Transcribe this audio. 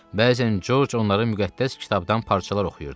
Bəzən Corc onların müqəddəs kitabdan parçalar oxuyurdu.